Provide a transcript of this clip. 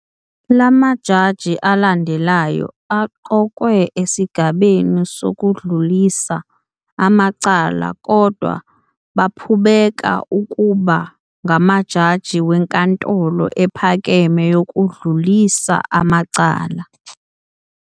Lamajaji alandelayo aqokwe esigabeni sokudlulisa amacala kodwa baphubeka ukuba ngamajaji weNkantolo Ephakeme Yokudlulisa Amacala.